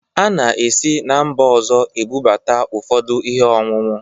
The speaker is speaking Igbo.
A na-esi na mba ọzọ ebụbata ụfọdụ ihe ọñụñụ